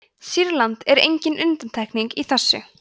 sýrland er engin undantekning á þessu